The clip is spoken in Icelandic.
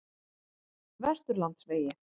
Vesturlandsvegi